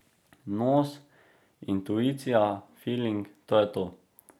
Nos, intuicija, filing, to je to.